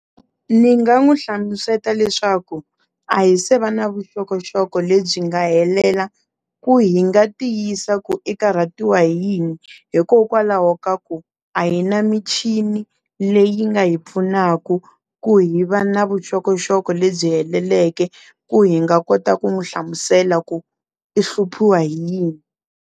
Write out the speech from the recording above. Ni nga n'wi hlamusela leswaku a hi se va na vuxokoxoko lebyi nga helela ku hi nga tiyisa ku i karhatiwa hi yini hikokwalaho ka ku a hi na michini leyi nga hi pfunaka ku hi va na vuxokoxoko lebyi heleleke ku hi nga kota ku n'wi hlamusela ku i hluphiwa hi yini.